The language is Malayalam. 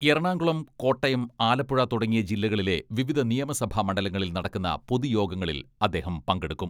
എറണാകുളം, കോട്ടയം, ആലപ്പുഴ തുടങ്ങിയ ജില്ലകളിലെ വിവിധ നിയമസഭാ മണ്ഡലങ്ങളിൽ നടക്കുന്ന പൊതുയോഗങ്ങളിൽ അദ്ദേഹം പങ്കെടുക്കും.